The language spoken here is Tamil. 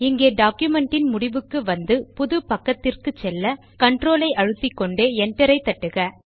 இங்கே டாக்குமென்ட் ன் முடிவுக்கு வந்து புது பக்கத்திற்கு செல்ல கன்ட்ரோல் ஐ அழுத்திக்கொண்டே Enter ஐ தட்டுக